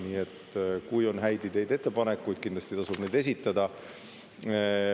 Nii et kui on häid ideid, ettepanekuid, kindlasti tasub neid esitada.